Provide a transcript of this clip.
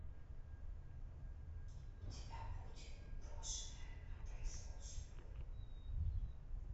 у тебя будет брошенная на произвол судьбы